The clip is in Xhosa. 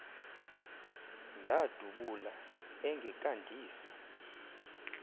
ndadu bula engekandisi